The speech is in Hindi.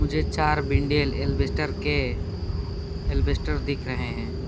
मुझे चार बिंडेल अल्बेस्टर के अल्बेस्टर दिख रहे हैं।